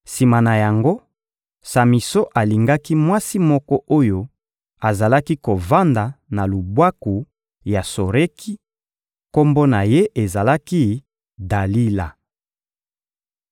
Sima na yango, Samison alingaki mwasi moko oyo azalaki kovanda na lubwaku ya Soreki; kombo na ye ezalaki «Dalila.»